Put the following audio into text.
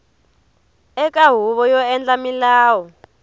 eka huvo yo endla milawu